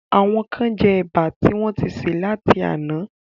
Àwọn kán jẹ Ẹ̀bà tí wọ́n ń ti sè láti àná